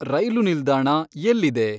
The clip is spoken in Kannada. ರೈಲು ನಿಲ್ದಾಣ ಎಲ್ಲಿದೆ